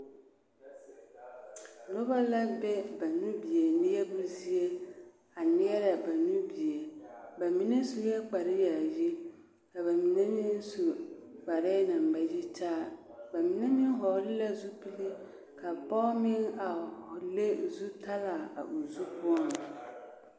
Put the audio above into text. Noba la be ba nubie neɛbo zie a neɛrɛ ba nubie, bamine sue kpare yaayi ka bamine meŋ su kparɛɛ naŋ ba yitaa, bamine meŋ hɔgele la zupile ka pɔge meŋ a le zutalaa a o zu poɔŋ.